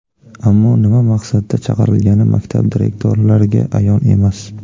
Ammo nima maqsadda chaqirilgani maktab direktorlariga ayon emas.